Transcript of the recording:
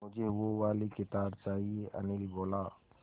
मुझे वो वाली किताब चाहिए अनिल बोला